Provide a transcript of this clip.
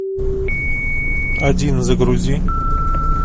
один загрузи